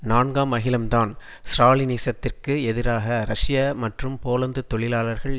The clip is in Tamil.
நான்காம் அகிலம்தான் ஸ்ராலினிசத்திற்கு எதிராக ரஷ்ய மற்றும் போலந்து தொழிலாளர்கள்